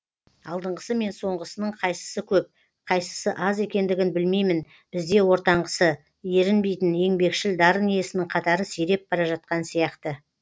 алдыңғысы мен соңғысының қайсысы көп қайсысы аз екендігін білмеймін бізде ортаңғысы ерінбейтін еңбекшіл дарын иесінің қатары сиреп бара жатқан сияқты